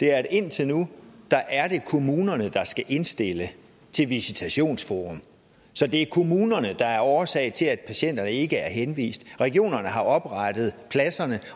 er at indtil nu er det kommunerne der skal indstille til visitationsforummet så det er kommunerne der er årsag til at patienterne ikke er henvist regionerne har oprettet pladserne